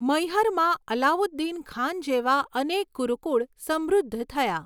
મૈહરમાં અલાઉદ્દીન ખાન જેવા અનેક ગુરુકુળ સમૃદ્ધ થયા.